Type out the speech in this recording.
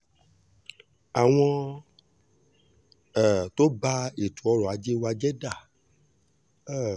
àwọn um tó bá ètò ọrọ̀ ajé wa jẹ́ dá um